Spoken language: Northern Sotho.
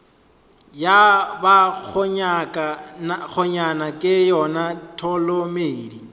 ya bakgonyana ke yona tholomedi